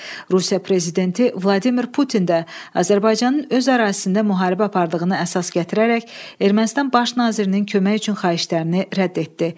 Rusiya prezidenti Vladimir Putin də Azərbaycanın öz ərazisində müharibə apardığını əsas gətirərək Ermənistan baş nazirinin kömək üçün xahişlərini rədd etdi.